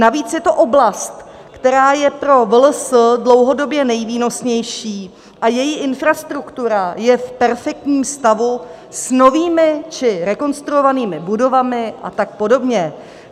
Navíc je to oblast, která je pro VLS dlouhodobě nejvýnosnější a její infrastruktura je v perfektním stavu, s novými či rekonstruovanými budovami a tak podobně.